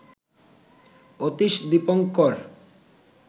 Atish Dipankar